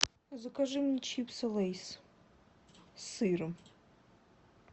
закажи мне чипсы лейс с сыром